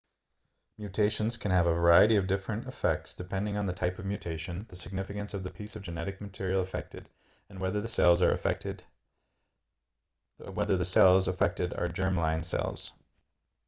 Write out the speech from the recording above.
mutations can have a variety of different effects depending on the type of mutation the significance of the piece of genetic material affected and whether the cells affected are germ-line cells